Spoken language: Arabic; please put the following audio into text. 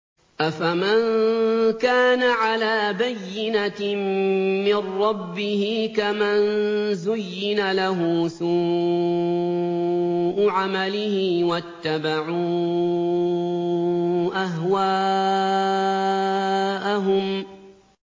أَفَمَن كَانَ عَلَىٰ بَيِّنَةٍ مِّن رَّبِّهِ كَمَن زُيِّنَ لَهُ سُوءُ عَمَلِهِ وَاتَّبَعُوا أَهْوَاءَهُم